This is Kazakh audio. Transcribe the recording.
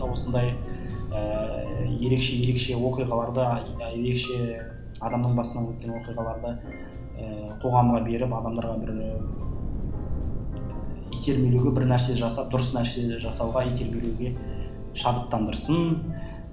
осындай ііі ерекше ерекше оқиғаларды ерекше адамның басынан өткен оқиғаларды ііі қоғамға беріп адамдарға бір і итермелеуге бір нәрсе жасап дұрыс нәрсе жасауға итермелеуге шабыттандырсын